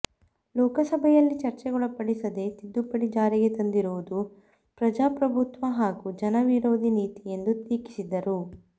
ಲೋಕಸಭೆಯಲ್ಲಿ ಚರ್ಚೆಗೊಳಪಡಿಸದೆ ತಿದ್ದುಪಡಿ ಜಾರಿಗೆ ತಂದಿರುವುದು ಪ್ರಜಾಪ್ರಭುತ್ವ ಹಾಗೂ ಜನವಿರೋಧಿ ನೀತಿ ಎಂದು ಟೀಕಿಸಿದರು